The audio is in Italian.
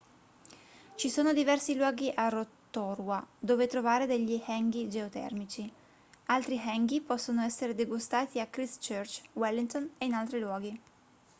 ci sono diversi luoghi a rotorua dove trovare degli hangi geotermici altri hangi possono essere degustati a christchurch wellington e in altri luoghi